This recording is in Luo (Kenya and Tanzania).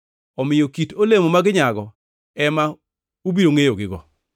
Omiyo kit olemo ma ginyago ema ubiro ngʼeyogigo.